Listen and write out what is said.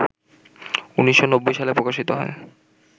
১৯৯০ সালে প্রকাশিত হয়